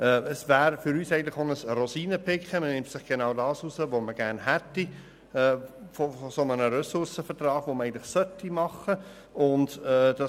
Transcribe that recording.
Für uns wäre es auch ein Rosinenpicken, denn man nimmt sich genau das heraus, was man von einem solchen Ressourcenvertrag, den man eigentlich machen sollte, gerne hätte.